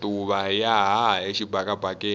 matuva ya haha exibakabakeni